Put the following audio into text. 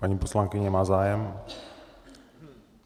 Paní poslankyně má zájem?